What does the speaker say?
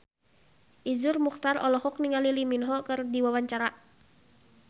Iszur Muchtar olohok ningali Lee Min Ho keur diwawancara